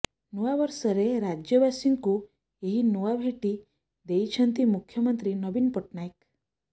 ନୂଆ ବର୍ଷରେ ରାଜ୍ୟବାସୀଙ୍କୁ ଏହି ନୂଆ ଭେଟି ଦେଇଛନ୍ତି ମୁଖ୍ୟମନ୍ତ୍ରୀ ନବୀନ ପଟ୍ଟନାୟକ